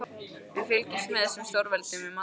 Við fylgjumst með þessum stórveldum við matarborðið.